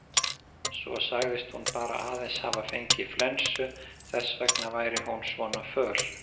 Svo sagðist hún bara aðeins hafa fengið flensu, þess vegna væri hún svona föl.